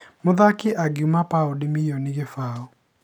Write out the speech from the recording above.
Mũrikthaki angiuma paũndi mirioni kĩbaũ